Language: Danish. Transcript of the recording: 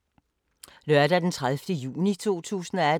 Lørdag d. 30. juni 2018